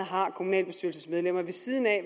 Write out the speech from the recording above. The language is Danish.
kommunalbestyrelsesmedlemmer har ved siden af